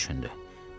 Lara düşündü.